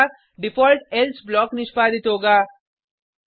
अन्यथा default else block निष्पादित होगा